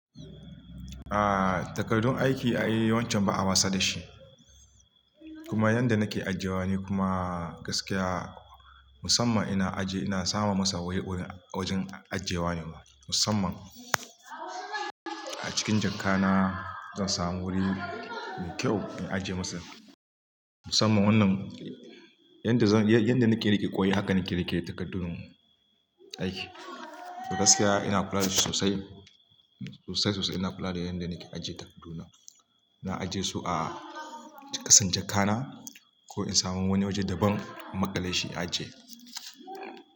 A'a takardun aiki ai wancan ba a masa da shi. Kuma yanda nake ajiyewa ne kuma gaskiya musamman ina ajiye ina sama masa wuri wajen ajiyewa ne ma musamman. A cikin jaka na zan samu wuri mai kyau in ajiye masa. Musamman wannan yanda zan, yanda nake rike ƙoyi hakan nake rike takardun aiki. To gaskiya ina kula da shi sosai, sosai sosai ina kula da yanda nake ajiye takarduna. Na ajiye su a ƙasan jaka na ko in samu wani waje daban in maƙale shi in ajiye.